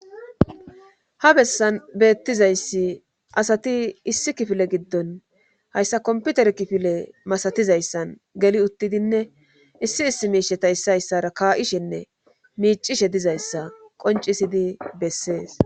ha bessan beettizayssi asati issi kifile giddon hayssa komputer kifile masatizayssan geli uttidinne issi issi miisheta issa hayssara kaa7ishenne miicishe dizayssa qoncisidi bessees